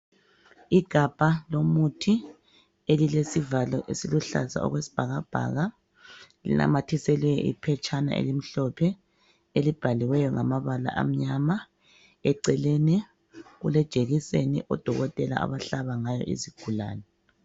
Igabha lomuthi elilesivalo esiluhlaza okwesibhakabhaka. Linamathiselwe iphetshana elimhlophe elibhaliweyo ngamabala amnyama. Eceleni kulejekiseni odokotela abahlaba ngayo izigulane.